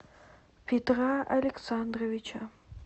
петра александровича